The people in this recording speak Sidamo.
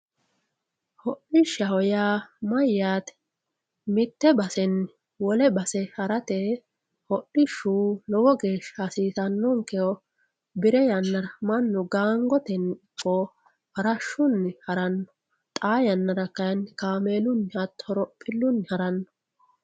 hodhishshaho yaa mayyaate mitte basenni wole base harate hodhishshu lowo geeshsha hasiisanonkeho bire yannara mannu gaangotenni farashunni haranno xaa yannara kayiini kaameelunni hatto horophilunni haranno